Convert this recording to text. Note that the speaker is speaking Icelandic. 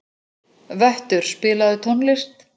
Vöttur, spilaðu tónlist.